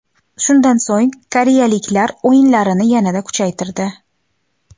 Shundan so‘ng koreyaliklar o‘yinlarini yanada kuchaytirdi.